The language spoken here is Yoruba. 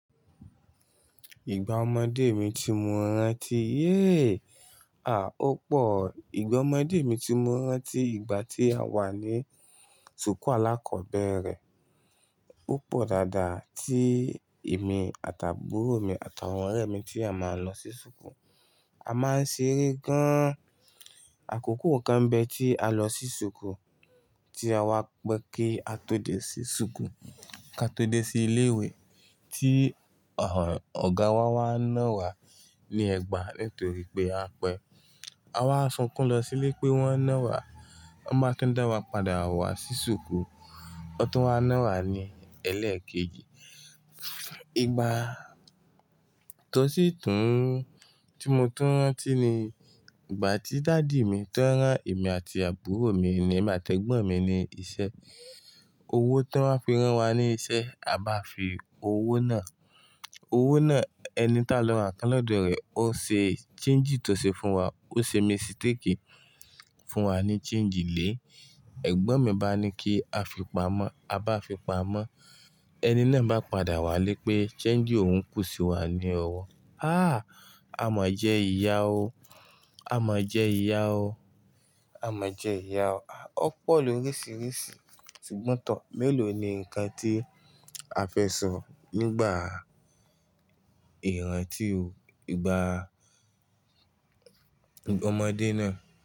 Ìgbà ọmọdé mi tí mo rántí, ó pọ̀. Ìgbà ọmọdé mi tí mo rántí, ìgbà tí a wà ní ṣùkú Alakọ̀bẹ́rẹ́, ó pọ̀ dáadáa tí èmi àti àbúrò mi àtàwọn ọ̀rẹ́ mi tí a máa ń lọ sí ṣùkú. A máa ń ṣeré gan-an. Àkókò kan bẹ́ tí a lọ sí ṣùkú tí a wá pẹ́ kí a tó dé sí ṣùkú, ká tó dé sí ilé ìwẹ̀ tí ọ̀gá wa wá ń no wa ní ẹ̀gbà nítorí pé a pẹ́. A wá sunkún lọ sílé pé wọ́n ná wa, wọ́n bá tún dá wa padà wá sí ṣùkú. Wọ́n tún wá ná wa ní ẹlẹ́ẹ̀kejì. Ìgbà tó sì tún tí mo tún rántí ni ìgbà tí daddy mi tó rán èmi àti àbúrò mi ní, èmi àtẹ́gbọ̀n mi ní iṣẹ́. Owó tó wà fi rán wa ní iṣẹ́ a bá fi owó náà, owó náà, ẹni táa lọ rà ǹkán lo do rẹ̀, ó ṣe change tí ó ṣe fún wa. Ó ṣe mistake fún wa ní change lè. Ẹ̀gbọ́n mi bá ní kí a fi pamọ́, a bá fi pamọ́. Ẹni náà bá padà wá lé pé change òun kù sí wa ní owó. A máa jẹ ìyà o. A máa jẹ ìyà o. A máa jẹ ìyà o. Ó pọ̀ ló rísìrísì, ṣùgbọ́n tọ, mélòó ni nǹkan tí a fẹ́ sọ nígbà ìrántí ò, ìgbà ọmọdé náà?